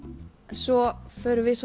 svo förum við